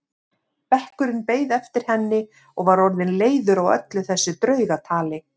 Bekkurinn beið eftir henni og var orðinn leiður á öllu þessu draugatali.